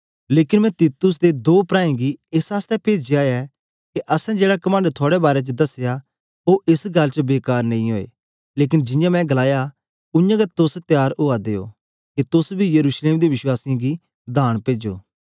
लेकन मैं तीतुस ते दो प्राऐं गी एस आसतै पेजया ऐ के असैं जेड़ा कमंड थुआड़े बारै च दसया ओ एस गल्ल च बेकार नेई ओए लेकन जियां मैं गलाया उयांगै तोस त्यार उआ दे ओ के तोस बी यरूशलेम दे वश्वासीयें गी दान पेजो